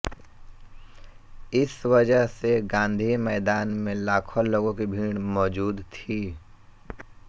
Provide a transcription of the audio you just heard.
इस वजह से गान्धी मैदान में लाखों लोगों की भीड़ मौजूद थी